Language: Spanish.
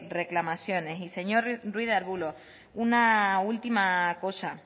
reclamaciones y señor ruiz de arbulo una última cosa